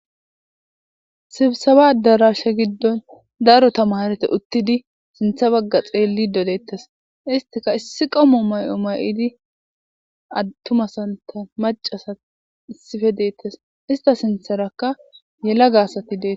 sibsaba darashe giddon daro tamarete uttidi sintha bagga xeelli dodeettes istika issi qamu may7o may7idi attumasanta macasa issife deettes ista sintharakka yelaga asati deesi.